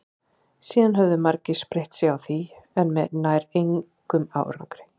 síðan höfðu margir spreytt sig á því en með nær engum árangri